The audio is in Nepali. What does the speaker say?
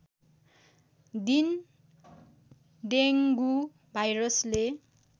दिन डेङ्गु भाइरसले